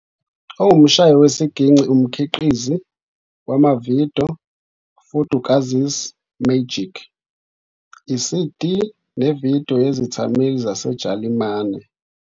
Ongumshayi wesigingci, umkhiqizi wamavidiyo, "Fudukazi's Magic ", iCD nevidiyo yezethameli zaseJalimane.